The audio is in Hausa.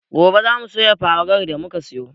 Gobe zamu soya farar da muka siyo